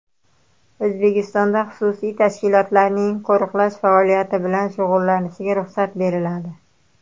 O‘zbekistonda xususiy tashkilotlarning qo‘riqlash faoliyati bilan shug‘ullanishiga ruxsat beriladi.